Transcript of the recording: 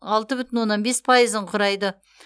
алты бүтін оннан бес пайызын құрайды